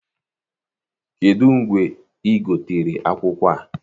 Kedụ mgbe ị gotere akwụkwọ a?